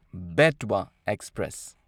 Betwa express